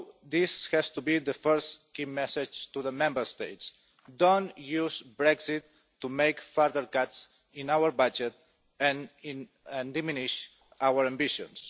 This has to be the first key message to the Member States Don't use Brexit to make further cuts in our budget and diminish our ambitions.